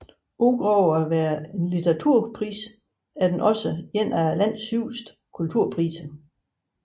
Udover at være litteraturpris er den også en af landets højeste kulturpriser